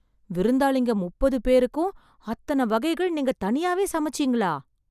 விருந்தாளிங்க முப்பது பேருக்கும் அத்தன வகைகள் நீங்க தனியாவே சமைச்சீங்களா...